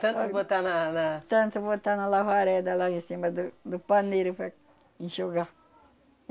Tanto botar na, na... Tanto botar na lavareda lá em cima do do paneiro para enxugar.